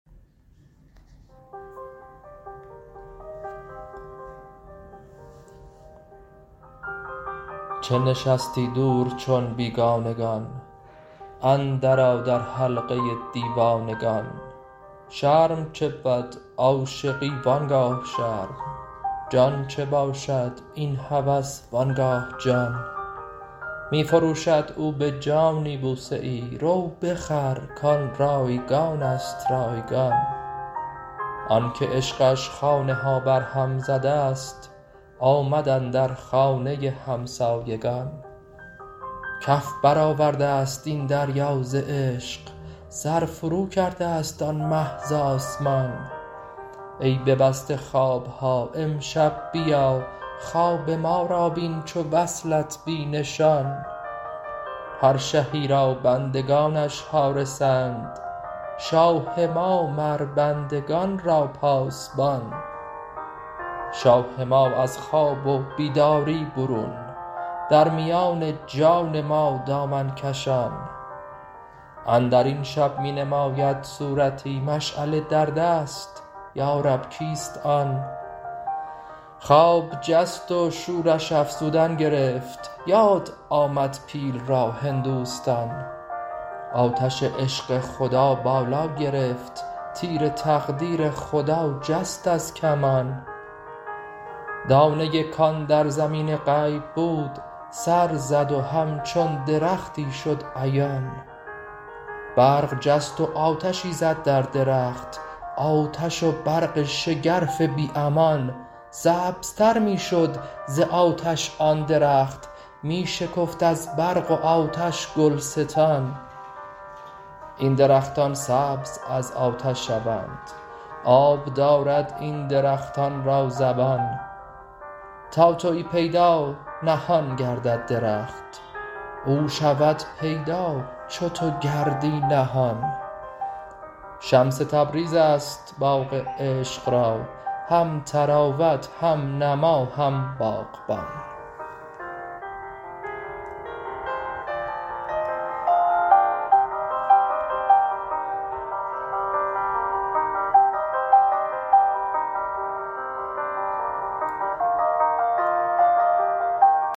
چه نشستی دور چون بیگانگان اندرآ در حلقه دیوانگان شرم چه بود عاشقی و آن گاه شرم جان چه باشد این هوس و آن گاه جان می فروشد او به جانی بوسه ای رو بخر کان رایگان است رایگان آنک عشقش خانه ها برهم زده ست آمد اندر خانه همسایگان کف برآورده ست این دریا ز عشق سر فروکرده ست آن مه ز آسمان ای ببسته خواب ها امشب بیا خواب ما را بین چو وصلت بی نشان هر شهی را بندگانش حارسند شاه ما مر بندگان را پاسبان شاه ما از خواب و بیداری برون در میان جان ما دامن کشان اندر این شب می نماید صورتی مشعله در دست یا رب کیست آن خواب جست و شورش افزودن گرفت یاد آمد پیل را هندوستان آتش عشق خدا بالا گرفت تیر تقدیر خدا جست از کمان دانه ای کان در زمین غیب بود سر زد و همچون درختی شد عیان برق جست و آتشی زد در درخت آتش و برق شگرف بی امان سبزتر می شد ز آتش آن درخت می شکفت از برق و آتش گلستان این درختان سبز از آتش شوند آب دارد این درختان را زبان تا توی پیدا نهان گردد درخت او شود پیدا چو تو گردی نهان شمس تبریز است باغ عشق را هم طراوت هم نما هم باغبان